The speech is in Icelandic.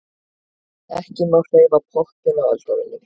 Ekki má hreyfa pottinn á eldavélinni.